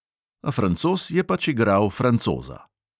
A francoz je pač "igral francoza".